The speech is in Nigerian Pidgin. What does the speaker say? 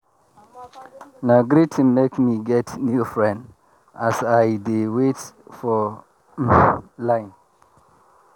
na greeting make me get new friend as i dey wait for um line.